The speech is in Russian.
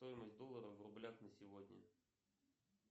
стоимость доллара в рублях на сегодня